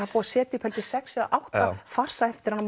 er búið að setja upp sex eða átta farsa eftir hann